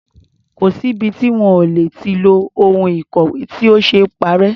Kò sí ibi tí wọn ò lè ti lo ohun ìkọ̀wé tí ò ṣee parẹ́.